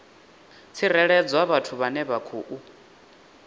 tsireledzwa vhathu vhane vha khou